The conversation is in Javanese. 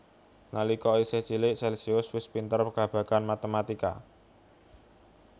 Nalika isih cilik Celcius wis pinter babagan matematika